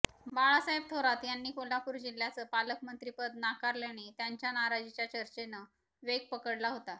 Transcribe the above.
बाळासाहेब थोरात यांनी कोल्हापूर जिल्ह्याचं पालकमंत्रिपद नाकारल्याने त्यांच्या नाराजीच्या चर्चेनं वेग पकडला होता